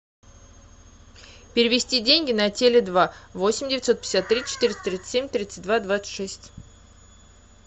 перевести деньги на теле два восемь девятьсот пятьдесят три четыреста тридцать семь тридцать два двадцать шесть